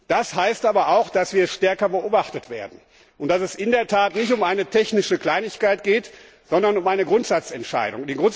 Das heißt aber auch, dass wir stärker beobachtet werden und dass es nicht um eine technische Kleinigkeit geht, sondern um eine Grundsatzentscheidung.